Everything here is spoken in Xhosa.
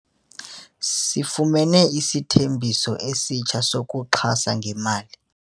Sifumene izithembiso ezitsha zokuxhasa ngemali.